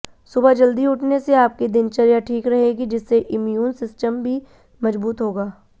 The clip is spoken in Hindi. सुबह जल्दी उठने से आपकी दिनचर्या ठीक रहेगी जिससे इम्यून सिस्टम भी मजबूत होगा